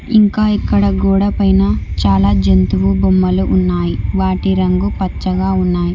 ఇంకా ఇక్కడ గోడ పైన చాలా జంతువు బొమ్మలు ఉన్నాయి వాటి రంగు పచ్చగా ఉన్నాయి.